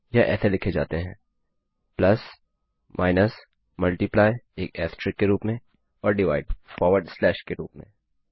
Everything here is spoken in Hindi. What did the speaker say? यह ऐसे लिखे जाते हैं प्लस माइनस मल्टीप्लाई एक एस्टेरिस्क के रूप में और डिवाइड फॉर्वर्ड स्लैश के रूप में